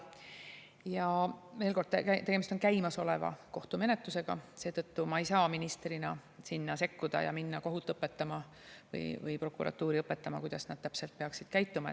Ja veel kord, tegemist on käimasoleva kohtumenetlusega, seetõttu ma ei saa ministrina sinna sekkuda ja minna kohut õpetama või prokuratuuri õpetama, kuidas nad täpselt peaksid käituma.